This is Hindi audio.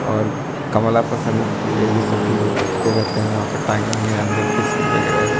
और कमला पसंद ये ये सब भी वो बेचते रेहते है वहां पे अंदर बिस्किट वगैरा है।